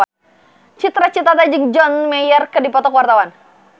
Cita Citata jeung John Mayer keur dipoto ku wartawan